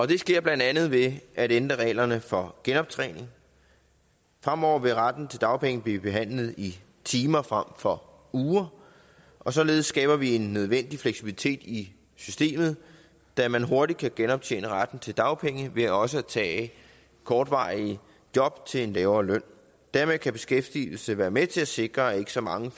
det sker blandt andet ved at ændre reglerne for genoptjening fremover vil retten til dagpenge blive behandlet i timer frem for uger og således skaber vi en nødvendig fleksibilitet i systemet da man hurtigt kan genoptjene retten til dagpenge ved også at tage kortvarige job til en lavere løn dermed kan beskæftigelse være med til at sikre at ikke så mange